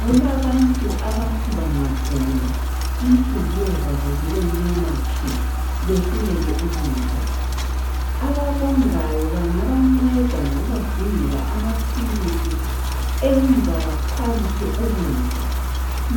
Kulabantu abathi bangagula inhliziyo zabo zibemnyama tshu behluleke ukudla. Ababongayo bangabanceda ngokubadingela amaphilisi enza bakhwabithe ukudla